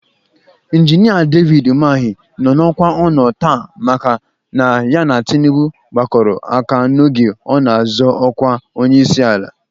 Injinia David Umahị nọ n'ọkwa ọ nọ taa maka na ya na Tinubu gbakọrọ aka n'oge ọ na-azọ ọkwa onyeisiala.